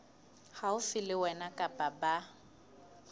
haufi le wena kapa ba